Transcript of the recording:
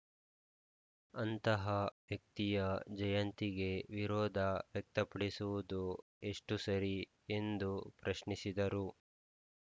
ಅಂತಹ ವ್ಯಕ್ತಿಯ ಜಯಂತಿಗೆ ವಿರೋಧ ವ್ಯಕ್ತಪಡಿಸುವುದು ಎಷ್ಟುಸರಿ ಎಂದು ಪ್ರಶ್ನಿಸಿದರು